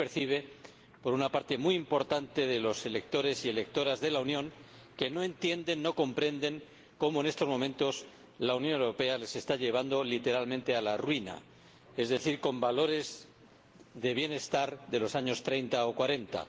Así se percibe por una parte muy importante de los electores y electoras de la Unión que no entienden, no comprenden cómo, en estos momentos, la Unión Europea les está llevando literalmente a la ruina, es decir, a valores de bienestar de los años treinta o cuarenta.